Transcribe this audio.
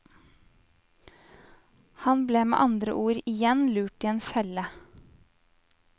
Han ble med andre ord igjen lurt i en felle.